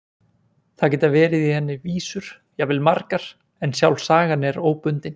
Það geta verið í henni vísur, jafnvel margar, en sjálf sagan er óbundin.